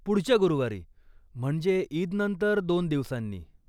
पुढच्या गुरुवारी, म्हणजे ईदनंतर दोन दिवसांनी.